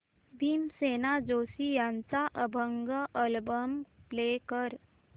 भीमसेन जोशी यांचा अभंग album play कर